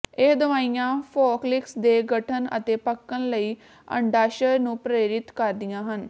ਇਹ ਦਵਾਈਆਂ ਫੋਕਲਿਕਸ ਦੇ ਗਠਨ ਅਤੇ ਪੱਕਣ ਲਈ ਅੰਡਾਸ਼ਯ ਨੂੰ ਪ੍ਰੇਰਿਤ ਕਰਦੀਆਂ ਹਨ